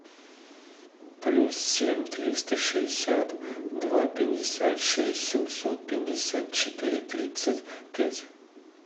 плюс семь триста шестьдесят два пятьдесят шесть семьсот пятьдесят четыре тридцать пять